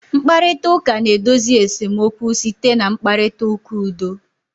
Mkparịta ụka na-edozi esemokwu site na mkparịta ụka udo